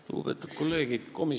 Lugupeetud kolleegid!